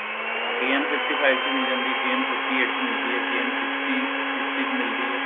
ਹਾਂ ਕਈਆ ਨੂੰ fifty five ਚ ਮਿਲ ਜਾਂਦੀ ਆ ਕਈਆ ਨੂੰ fifty eight ਚ ਕਈਆ ਨੂੰ sixty sixty ਚ ਮਿਲਦੀ ਹੈ